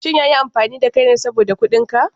Shin ya yi amfani da kai ne saboda kuɗin ka?